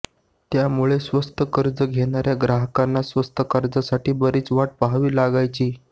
त्यामुळे स्वस्त कर्ज घेणाऱ्या ग्राहकांना स्वस्त कर्जासाठी बरीच वाट पाहावी लागायची